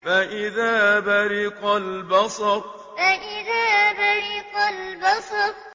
فَإِذَا بَرِقَ الْبَصَرُ فَإِذَا بَرِقَ الْبَصَرُ